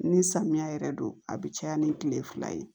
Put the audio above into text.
Ni samiya yɛrɛ don a bi caya ni kile fila ye